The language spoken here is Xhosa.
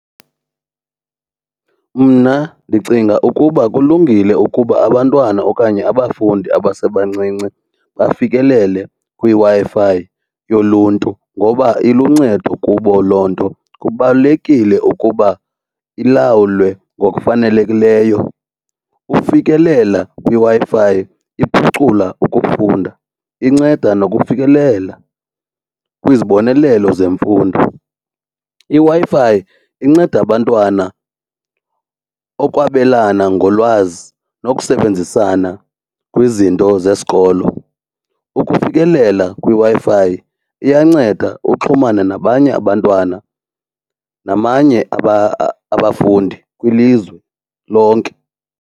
Mna ndicinga ukuba kulungile ukuba abantwana okanye abafundi abasebancinci bafikelele kwiWi-Fi yoluntu ngoba iluncedo kubo loo nto, kubalulekile ukuba ilawulwe ngokufanelekileyo. Ukufikelela kwiWi-Fi iphucula ukufunda inceda nokufikelela kwizibonelelo zemfundo. IWi-Fi inceda abantwana okwabelana ngolwazi nokusebenzisana kwizinto zesikolo. Ukufikelela kwiWi-Fi iyanceda uxhumane nabanye abantwana namanye abafundi kwilizwe lonke.